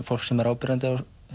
fólk sem er áberandi